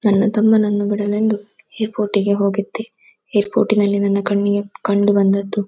ನನ್ನ ತಮ್ಮನನ್ನು ಬಿಡಲೆಂದು ಏರ್ಪೋರ್ಟ್ ಗೆ ಹೋಗಿದ್ದೆ ಏರ್ಪೋರ್ಟ್ ನನ್ನ ಕಣ್ಣಿನಲ್ಲಿ ಕಂಡುಬಂದದ್ದು.